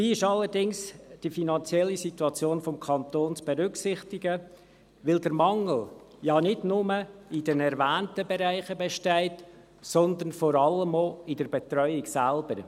Dabei ist allerdings die finanzielle Situation des Kantons zu berücksichtigen, weil der Mangel ja nicht nur in den erwähnten Bereichen besteht, sondern vor allem auch in der Betreuung selbst.